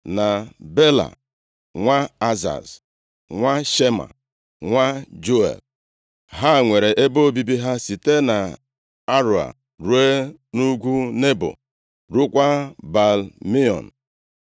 na Bela nwa Azaz nwa Shema, nwa Juel. Ha nwere ebe obibi ha site nʼAroea ruo nʼugwu Nebo, rukwaa Baal-Meon.